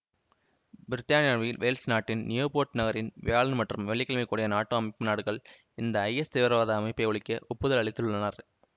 பிரித்தானியாவில் வேல்ஸ் நாட்டின் நியுபோர்ட் நகரில் வியாழன் மற்றும் வெள்ளிகிழமை கூடிய நாட்டோ அமைப்பு நாடுகள் இந்த ஐஎஸ் தீவிரவாத அமைப்பை அழிக்க ஒப்புதல் அளித்துள்ளனர்